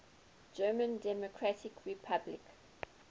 german democratic republic